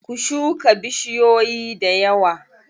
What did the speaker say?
Ku shuka bushiyoyi dayawa.